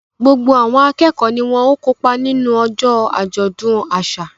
Gbogbo àwọn akẹ́kọ̀ọ́ ni wọ́n ó kópa nínú ọjọ́ àjọ̀dún àṣà